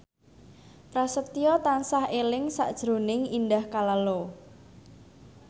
Prasetyo tansah eling sakjroning Indah Kalalo